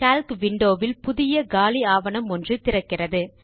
Calc window வில் புதிய காலி ஆவணம் ஒன்று திறக்கிறது